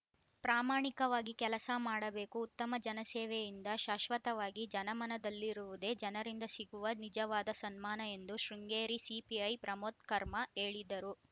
ಪ್ರಾಮಾಣಿಕವಾಗಿ ಕೆಲಸ ಮಾಡಬೇಕು ಉತ್ತಮ ಜನಸೇವೆಯಿಂದ ಶಾಶ್ವತವಾಗಿ ಜನಮನದಲ್ಲಿರುವುದೇ ಜನರಿಂದ ಸಿಗುವ ನಿಜವಾದ ಸನ್ಮಾನ ಎಂದು ಶೃಂಗೇರಿ ಸಿಪಿಐ ಪ್ರಮೋದ್‌ಕರ್ಮ ಹೇಳಿದರು